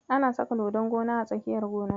Ana saka dodon gona a tsakiyar gona.